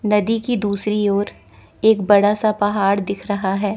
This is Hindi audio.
नदी की दूसरी ओर एक बड़ा सा पहाड़ दिख रहा है।